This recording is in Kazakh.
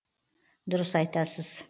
дұрыс айтасыз